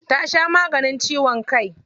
Ta sha maganin ciwon kai.